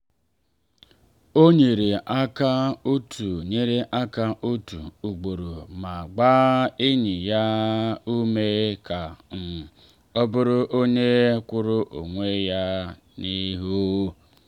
o nyere aka otu nyere aka otu ugboro ma gbaa enyi ya ume ka um ọ bụrụ onye kwụụrụ onwe ya n’ihu.